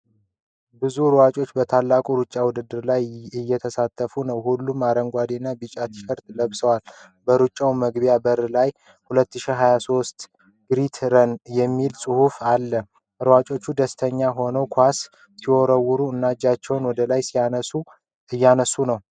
ብዙ ሯጮች በታላቁ ሩጫ ውድድር ላይ እየተሳተፉ ነው። ሁሉም አረንጓዴና ቢጫ ቲሸርት ለብሰዋል። በሩጫው መግቢያ በር ላይ "2023 ግሬት ረን " የሚል ጽሑፍ አለ። ሯጮቹ ደስተኛ ሆነው ኳስ ሲወረውሩ እና እጃቸውን ወደ ላይ እያነሱ ነው።